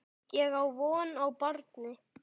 Ég á von á barni.